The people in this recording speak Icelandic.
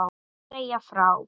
Segja frá.